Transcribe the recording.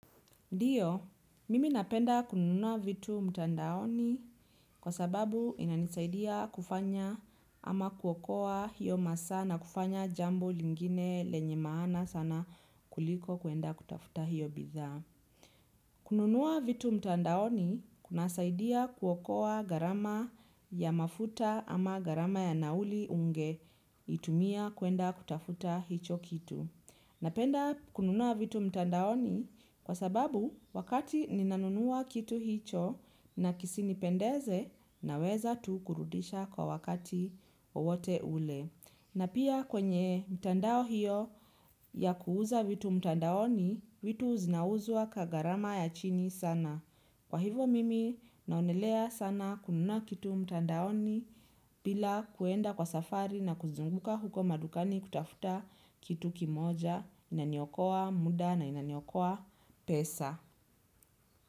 Ndiyo, mimi napenda kununua vitu mtandaoni kwa sababu inanisaidia kufanya ama kuokoa hiyo maasa na kufanya jambo lingine lenye maana sana kuliko kuenda kutafuta hiyo bidhaa. Kununua vitu mtandaoni kunasaidia kuokoa gharama ya mafuta ama gharama ya nauli ungeitumia kuenda kutafuta hicho kitu. Napenda kununua vitu mtandaoni kwa sababu wakati ninanunua kitu hicho na kisinipendeze naweza tu kurudisha kwa wakati wote ule. Na pia kwenye mtandao hiyo ya kuuza vitu mtandaoni, vitu zinauzwa kwa gharama ya chini sana. Kwa hivyo mimi naonelea sana kununa kitu mtandaoni bila kuenda kwa safari na kuzunguka huko madukani kutafuta kitu kimoja inaniokoa muda na inaniokoa pesa.